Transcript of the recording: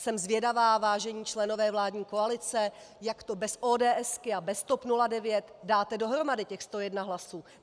Jsem zvědavá, vážení členové vládní koalice, jak to bez ODS a bez TOP 09 dáte dohromady, těch 101 hlasů.